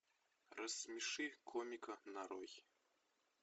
рассмеши комика нарой